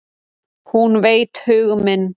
Hún veit hug minn.